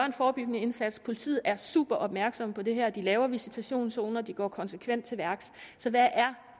en forebyggende indsats politiet er super opmærksomme på det her de laver visitationszoner og de går konsekvent til værks så hvad er